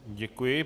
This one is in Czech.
Děkuji.